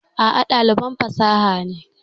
A'a, ɗaliban fasaha ne.